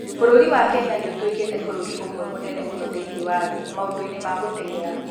Bũrũri wa Kenya nĩ ũtuĩkĩte bũrũri ũmwe mũnene mũno thĩinĩ wa thĩ maũndũ-inĩ ma gũteng'era.